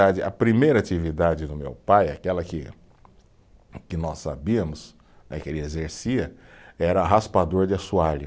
A primeira atividade do meu pai, aquela queque nós sabíamos né, que ele exercia, era raspador de assoalho.